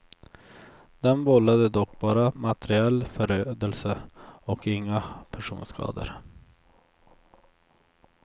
Den vållade dock bara materiell förödelse och inga personskador.